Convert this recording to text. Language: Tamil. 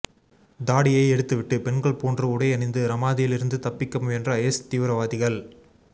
தாடியை எடுத்துவிட்டு பெண்கள் போன்று உடையணிந்து ரமாதியில் இருந்து தப்பிக்க முயன்ற ஐஎஸ் தீவிரவாதிகள்